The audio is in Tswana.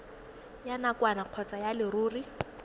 ya nakwana kgotsa ya leruri